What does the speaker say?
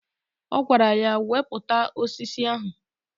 Ọ gwara ya "Wepụta osisi ahụ!